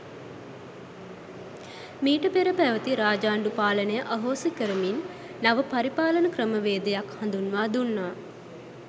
මීට පෙර පැවැති රාජාණ්ඩු පාලනය අහෝසි කරමින් නව පරිපාලන ක්‍රමවේදයක් හඳුන්වා දුන්නා.